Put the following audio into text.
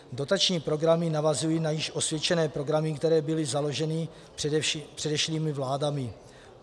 Dotační programy navazují na již osvědčené programy, které byly založeny předešlými vládami.